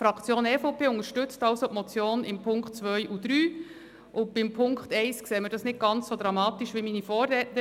Die Fraktion EVP unterstützt also die Motion in den Punkten 2 und 3, und bei Punkt 1 sehen wir es nicht ganz so dramatisch wie meine Vorrednerin.